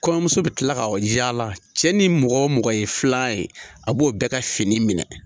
Kɔɲɔmuso bɛ tila ka yaala cɛ ni mɔgɔ o mɔgɔ ye filan ye a b'o bɛɛ ka fini minɛ.